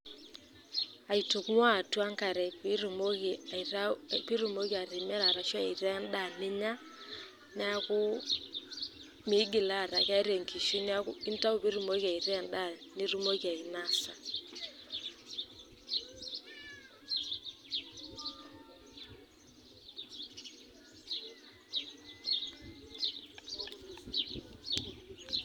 Aitung'ua atua enk'are pee etumoki atimira ashu intaa edaa ninya, neaku meigil aaku keeta enkishui neaku entau peetum ataa keeku endaa nitumoki ainosa.